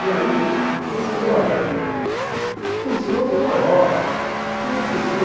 E aí eu falei, olha, o senhor é o maior, e não sei o que.